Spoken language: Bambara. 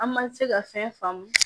An ma se ka fɛn faamu